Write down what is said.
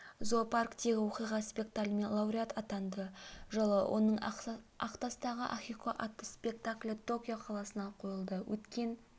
зоопарктегі оқиға спектаклімен лауреат атанды жылы оның ақтастағы ахико атты спектаклі токио қаласында қойылды өткен